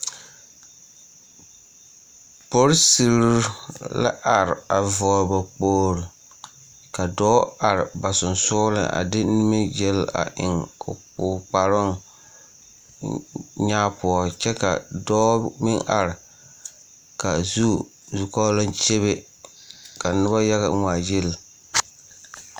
Polisire la are a vɔgle ba kpogle ka dɔɔ are ba sonsogleŋ a de nimigyel a eŋ o kparoŋ nyaa poɔ kyɛ ka dɔɔ meŋ are ka a zu zukɔɔloŋ kyebe ka noba yaga ŋmaagyili.